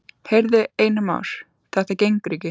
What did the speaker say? Heyrðu, Einar Már, þetta gengur ekki.